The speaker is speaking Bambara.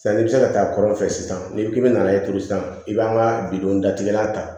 Sanni i bɛ se ka taa kɔ fɛ sisan n'i ko k'i bɛ na e turu sisan i b'an ka bidon datigɛla ta